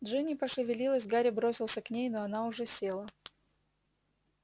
джинни пошевелилась гарри бросился к ней но она уже села